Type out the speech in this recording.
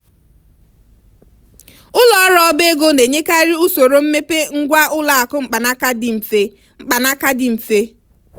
ụlọ ọrụ ọba ego na-enyekarị usoro mmepe ngwá ụlọ akụ mkpanaka dị mfe mkpanaka dị mfe